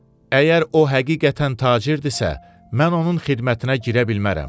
Əgər o həqiqətən tacirdirsə, mən onun xidmətinə girə bilmərəm.